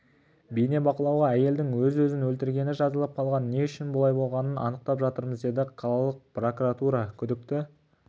бейнебақылауға әйелдің өз-өзін өлтіргені жазылып қалған не үшін бұлай болғанын анықтап жатырмыз деді қалалық прокуратура күдікті